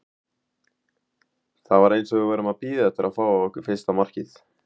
Það var eins og við værum að bíða eftir að fá á okkur fyrsta markið.